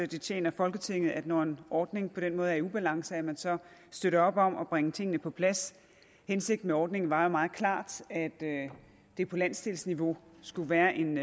det tjener folketinget når en ordning på den måde er i ubalance at man så støtter op om at bringe tingene på plads hensigten med ordningen var meget klart at det på landsdelsniveau skulle være en